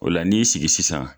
O la n'i sigi sisan.